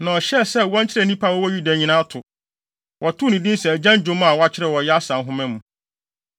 Na ɔhyɛɛ sɛ wɔnkyerɛ nnipa a wɔwɔ Yuda nyinaa to. Wɔtoo no din sɛ agyan dwom a wɔakyerɛw wɔ Yasar Nhoma mu.